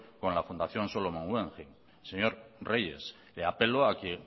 con la fundación solomon guggenheim señor reyes le apelo a que